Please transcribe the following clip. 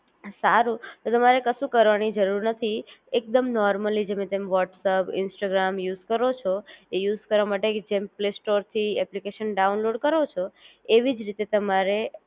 સારું તો તમારે કશું કરવાની જરૂર નથી એકદમ નૉર્મલી જેમ તમ વ્હોટ્સઅપ, ઇન્સ્ટાગ્રામ યુઝ કરો છો, એ યુઝ કરવા માટે જેમ પ્લે સ્ટોર થી એપ્લિકેશન ડાઉનલોડ કરો છો એવી જ રીતે તમારે